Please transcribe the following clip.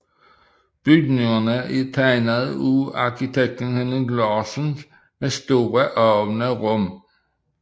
Bygningerne er er tegnet af arkitekten Henning Larsen med store åbne rum